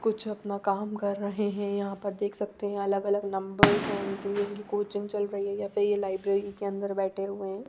कुछ अपना काम कर रहे है यहाँ पर देख सकते है ये अलग अलग नंबर्स है इनके इनकी कोई जिम चल रही है या फिर ये लायब्ररी के अंदर बैठे हुए है।